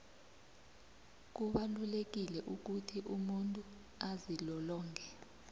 kubalulekile ukuthi umuntu azilolonge